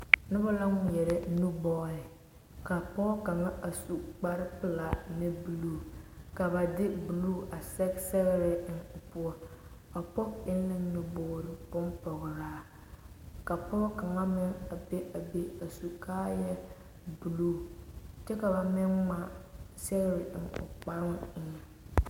Noba la ŋmeɛrɛ nu bɔɔle ka pɔge kaŋa a su kpare pelaa ne buluu ka ba de buluu a sɛge sɛgere eŋ o poɔ, a pɔge eŋ la nu buulo ka pɔge kaŋ meŋ be a be a su kaaya buulu bompɔgeraa kyɛ ka ba meŋ ŋmaa sɛgere a eŋ a kparoo eŋɛ.